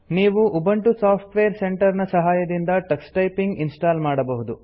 ನೀವು Ubuntu software centre ನ ಸಹಾಯದಿಂದ ಟಕ್ಸ್ ಟೈಪಿಂಗ್ ಇನ್ಸ್ಟಾಲ್ ಮಾಡಬಹುದು